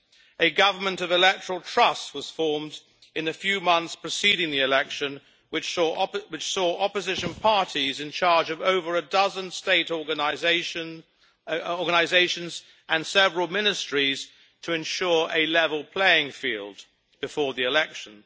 A government of electoral trust was formed in the few months preceding the election, which saw opposition parties in charge of over a dozen state organisations and several ministries, to ensure a level playing field before the election.